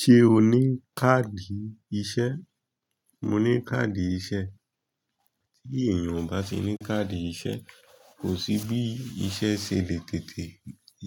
Ṣé o ní káàdì iṣẹ́? Mo ní káàdì iṣẹ́. Tí èèyàn ò bá ti ní káàdì iṣẹ́, kò sí bí iṣẹ́ ṣe lè tètè